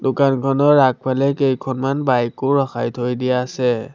দোকানখনৰ আগফালে কেইখনমান বাইক ও ৰখাই থৈ দিয়া আছে।